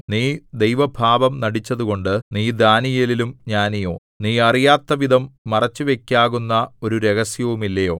നീ ദൈവഭാവം നടിച്ചതുകൊണ്ട് നീ ദാനീയേലിലും ജ്ഞാനിയോ നീ അറിയാത്തവിധം മറച്ചുവയ്ക്കാകുന്ന ഒരു രഹസ്യവുമില്ലയോ